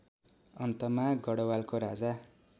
अन्तमा गढवालको राजा